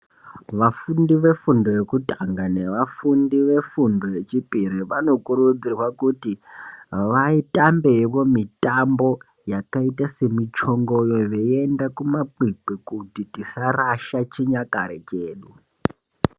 Vafundi vefundo vekutanga nevafundi vefundo yechipiri vanokurudzirwa kuti vatambewo mitambo yakaita semichongoyo veienda kuti tisarasha chunyakare chedu.